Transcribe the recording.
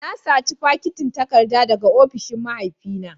Na saci fakitin takarda daga ofishin mahaifina